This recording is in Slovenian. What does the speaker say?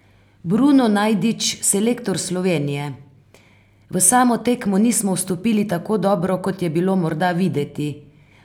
Bruno Najdič, selektor Slovenije: "V samo tekmo nismo vstopili tako dobro kot je bilo morda videti.